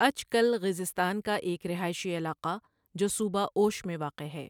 عچ کل غیزستان کا ایک رہائشی علاقہ جو صوبہ اوش میں واقع ہے۔